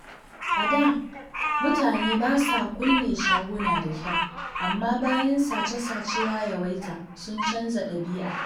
A da, mutane ba sa kulle shaguna da kyau, amma bayan sace-sace ya yawaita, sun canza dabi'a.